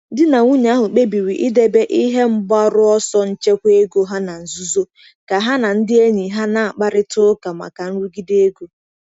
Di na nwunye ahụ kpebiri idebe ihe mgbaru ọsọ nchekwa ego ha na nzuzo ka ha na ndị enyi ha na-akparịta ụka maka nrụgide ego.